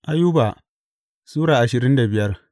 Ayuba Sura ashirin da biyar